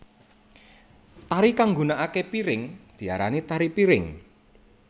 Tari kang nggunakaké piring diarani tari piring